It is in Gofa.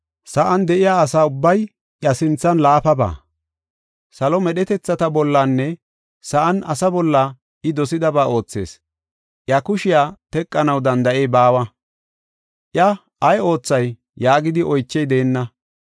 Sa7an de7iya asa ubbay iya sinthan laafaba. Salo medhetethata bollanne sa7an asaa bolla I dosidaba oothees. Iya kushiya teqanaw danda7ey baawa, iya, ‘Ay oothay?’ yaagidi oychey deenna.